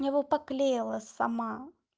я бы поклеила сама